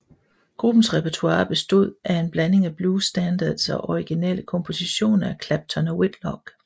Gruppens repertoire bestod af en blanding af blues standards og originale kompositioner af Clapton og Whitlock